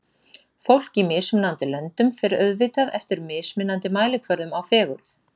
Fólk í mismunandi löndum fer auðvitað eftir mismunandi mælikvörðum á fegurð.